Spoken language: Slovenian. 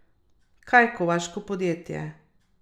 Kaj kovaško podjetje?